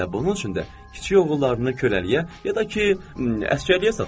Elə bunun üçün də kiçik oğullarını köləliyə ya da ki, əsgərliyə satırlar.